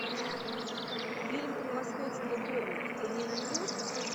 фильм превосходство борна ты мне найдешь